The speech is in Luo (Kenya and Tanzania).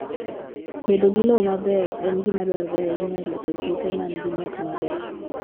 Bedo gi lowo maber en gima dwarore ahinya e loso puothe ma nigi nyak maber.